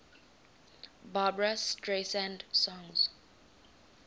barbra streisand songs